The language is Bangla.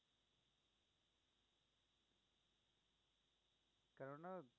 কেননা